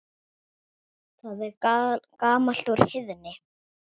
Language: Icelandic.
Það er gamalt úr Heiðni!